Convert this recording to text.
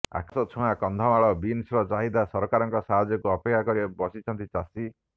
ଆକାଶ ଛୁଆଁ କନ୍ଧମାଳ ବିନ୍ସର ଚାହିଦା ସରକାରଙ୍କ ସାହାଯ୍ୟକୁ ଅପେକ୍ଷା କରି ବସିଛନ୍ତି ଚାଷୀ